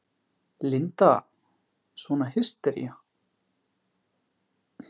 Linda: Svona hystería?